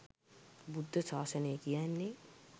බුද්ධ ශාසනය කියන්නේ